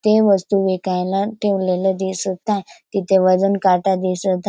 ते वस्तू विकायला ठेवलेले दिसत आहे तिथे वजन काटा दिसत आहे.